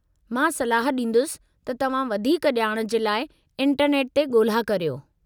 मां सलाहु ॾींदुसि त तव्हां वधीक ॼाण जे लाइ इंटरनेट ते ॻोल्हा करियो।